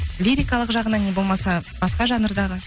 лирикалық жағынан не болмаса басқа жанрдағы